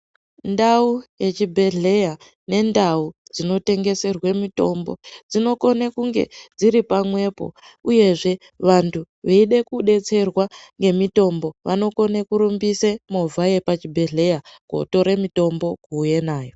Ndau yechibhedhleya nendau dzinotengeserwe mitombo dzinokone kunge dziripamwepo uyezve vantu veide kudetserwa ngemitombo vanokona kurumbise movha yepachibhedhleya kotore mitombo kuuye nayo.